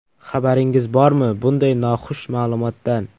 Xabaringiz bormi, bunday noxush ma’lumotdan?